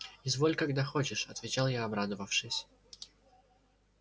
изволь когда хочешь отвечал я обрадовавшись